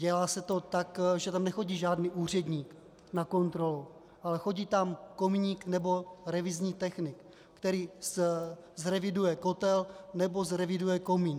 Dělá se to tak, že tam nechodí žádný úředník na kontrolu, ale chodí tam kominík nebo revizní technik, který zreviduje kotel nebo zreviduje komín.